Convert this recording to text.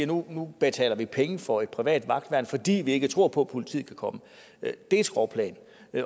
nu betaler vi penge for et privat vagtværn fordi vi ikke tror på at politiet kan komme det er et skråplan